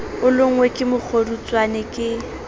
o lonngwe ke mokgodutswane ke